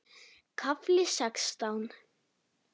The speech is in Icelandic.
KAFLI SEXTÁN